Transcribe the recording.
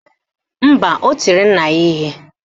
Mba, o tiri nna ya ihe